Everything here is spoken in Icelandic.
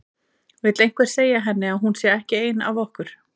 Vill einhver segja henni að hún sé ekki ein af okkur.